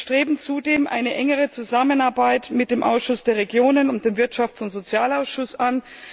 Wir streben zudem eine engere Zusammenarbeit mit dem Ausschuss der Regionen und dem Wirtschafts und Sozialausschuss an.